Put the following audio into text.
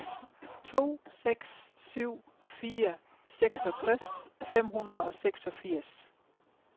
to seks syv fire seksogtres fem hundrede og seksogfirs